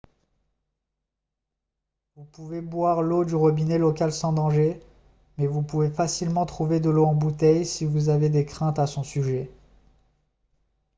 vous pouvez boire l'eau du robinet local sans danger mais vous pouvez facilement trouver de l'eau en bouteille si vous avez des craintes à son sujet